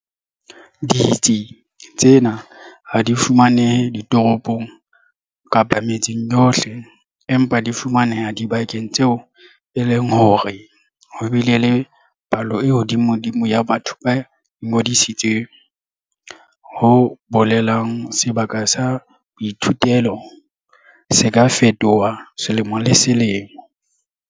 Ditsi tsena ha di fumanehe ditoropong kapa metseng yohle, empa di fumaneha dibakeng tseo e leng hore ho bile le palo e hodimodimo ya batho ba ingodisitseng, ho bolelang sebaka sa boithutelo se ka fetoha selemo le selemo.